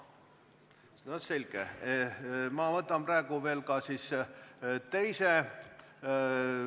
No selge, ma võtan praegu veel ka siis teise.